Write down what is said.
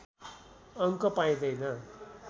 अङ्क पाइँदैन